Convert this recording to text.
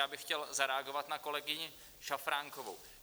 Já bych chtěl zareagovat na kolegyni Šafránkovou.